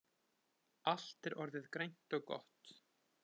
Allt er orðið grænt og gott